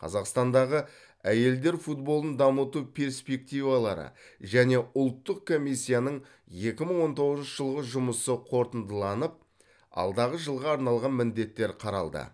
қазақстандағы әйелдер футболын дамыту перспективалары және ұлттық комиссияның екі мың он тоғызыншы жылғы жұмысы қорытындыланып алдағы жылға арналған міндеттер қаралды